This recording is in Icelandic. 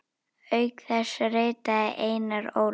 Auk þess ritaði Einar Ól.